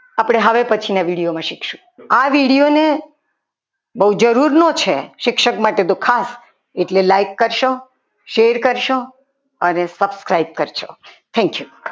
આપણે હવે પછીના વીડિયોમાં શીખીશું આ વીડિયોને બહુ જરૂરનો છે શિક્ષક માટે તો એટલે લાઈક કરશો શેર કરશો અને સબસ્ક્રાઇબ કરશો thank you